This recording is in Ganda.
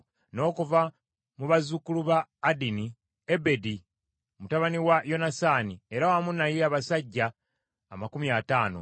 n’okuva mu bazzukulu ba Adini, Ebedi mutabani wa Yonasaani, era wamu naye abasajja amakumi ataano (50);